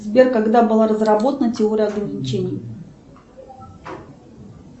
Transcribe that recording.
сбер когда была разработана теория ограничений